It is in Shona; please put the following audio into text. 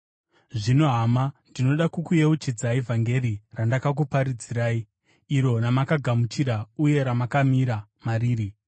Zvino hama, ndinoda kukuyeuchidzai vhangeri randakakuparidzirai, iro ramakagamuchira uye ramakamira mariri.